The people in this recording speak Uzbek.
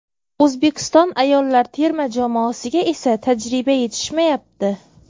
O‘zbekiston ayollar terma jamoasiga esa tajriba yetishmayapti.